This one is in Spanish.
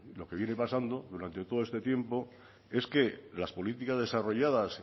lo que viene pasando durante todo este tiempo es que las políticas desarrolladas